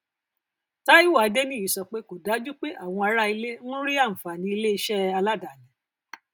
taiwo adeniyi sọ pé kò dájú pé àwọn ará ilé ń rí àǹfààní iléiṣẹ aládani